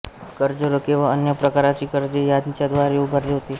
कर्जरोखे व अन्य प्रकारची कर्जे यांच्याद्वारा उभारले होते